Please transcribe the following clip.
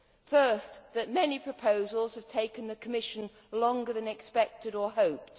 First, that many proposals have taken the Commission longer than expected or hoped.